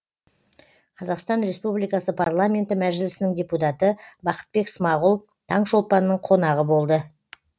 қазақстан республикасы парламенті мәжілісінің депутаты бақытбек смағұл таңшолпанның қонағы болды